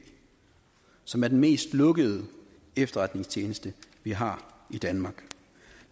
som er den mest lukkede efterretningstjeneste vi har i danmark